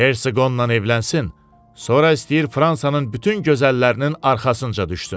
Hersoğunla evlənsin, sonra istəyir Fransanın bütün gözəllərinin arxasınca düşsün.